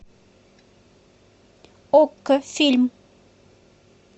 окко фильм